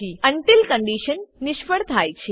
until condition નિષ્ફળ જાય છે